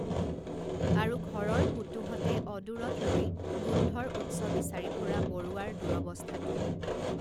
আৰু ঘৰৰ পুতুহঁতে অদূৰত ৰৈ গোন্ধৰ উৎস বিচাৰি ফুৰা বৰুৱাৰ দুৰৱস্থাটো